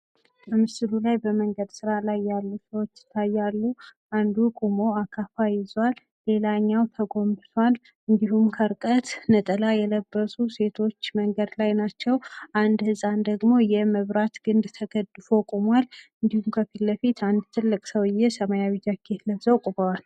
በምስሉ ላይ በመንገድ ስራ ላይ ያሉ ሰዎች ይታያሉ አንዱ ቆሞ አካፋ ይዟል ሌላኛው ተጎንብሷል እንዲሁም ከርቀት ነጠላ የለበሱ ሴቶች መንገድ ላይ ናቸው። አንድ ህጻን ደግሞ የመብራት ግንድ ተደግፎ ቁሟል ፤ ከፍት ለፊት አንድ ትልቅ ሰውዬ ሰማያዊ ጃኬት ለብሰው ቁመዋል።